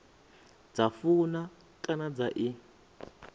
dza funa kana dza i